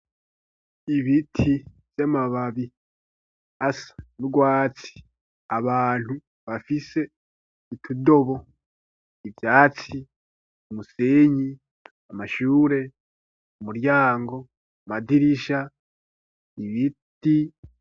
Ibiti vy'amababi asa n'urwatsi abantu bafise itudobo, ivyatsi, umusenyi, amashure, umuryango, amadirisha, ibiti